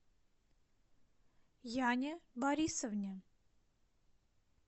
яне борисовне